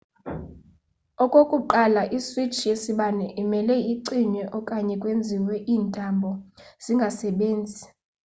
okokuqala i-switch yesibane imele icinywe okanye kwenziwe iintambo zingasebenzi